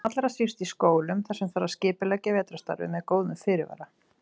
Allra síst í skólum þar sem þarf að skipuleggja vetrarstarfið með góðum fyrirvara.